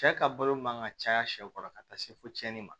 Cɛ ka balo man ka caya sɛw kɔrɔ ka taa se fo tiɲɛni ma